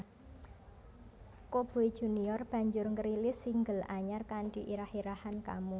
Coboy Junior banjur ngrilis single anyar kanthi irah irahan Kamu